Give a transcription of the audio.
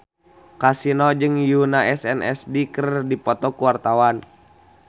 Kasino jeung Yoona SNSD keur dipoto ku wartawan